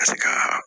Ka se ka